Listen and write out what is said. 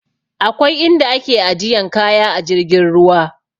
Akwai in da ake ajiyan kaya a jirgin ruwa